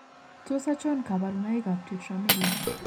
Tos achon kabarunaik ab Tetramelic